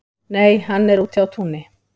Nei, hann er úti á túni